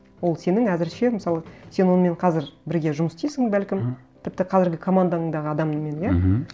ол сенің әзірше мысалы сен онымен қазір бірге жұмыс істейсің бәлкім мхм тіпті қазіргі командаңдағы адаммен иә мхм